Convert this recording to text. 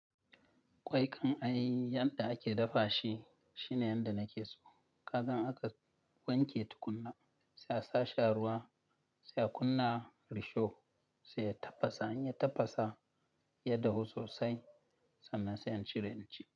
Kwai kan ai yadda ake dafashi shine yadda nakeso. Kagan aka wanke tukunna, sai a sashi a ruwa, sai a kunna risho sai ya tafasa. Inya tafasa ya dahu sosai sannan sai incire inci.